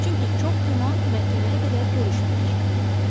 Çünki çox güman məhkəməyə qədər görüşməyəcəyik.